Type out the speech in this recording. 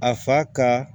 A fa ka